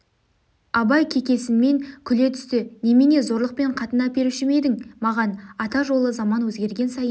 абай кекесінмен күле түсті немене зорлықпен қатын әперуші ме едің маған ата жолы заман өзгерген сайын